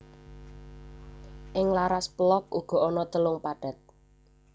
Ing laras pélog uga ana telung pathet